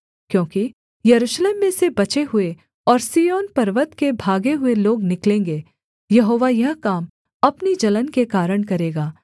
क्योंकि यरूशलेम में से बचे हुए और सिय्योन पर्वत के भागे हुए लोग निकलेंगे यहोवा यह काम अपनी जलन के कारण करेगा